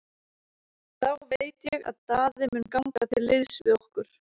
Þá veit ég að Daði mun ganga til liðs við okkur.